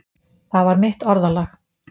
Það var mitt orðalag.